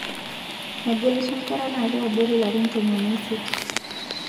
Megelisho nkera natii abori larin tomon osiet